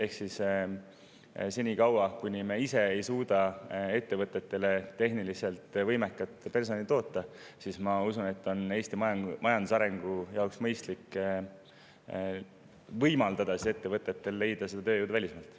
Ma usun, et senikaua, kui me ise ei suuda ettevõtetele tehniliselt võimekat personali toota, on Eesti majandusarengu jaoks mõistlik võimaldada ettevõtetel leida see tööjõud välismaalt.